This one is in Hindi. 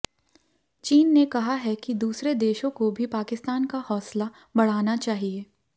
चीन ने कहा है कि दूसरे देशों को भी पाकिस्तान का हौसला बढ़ाना चाहिए